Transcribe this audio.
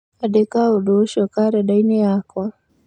Andĩka ũndũ ũcio karenda-inĩ yakwa